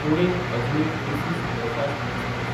पुणे–अजनी AC superfast express